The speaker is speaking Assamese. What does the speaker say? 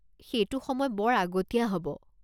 সেইটো সময় বৰ আগতীয়া হ'ব।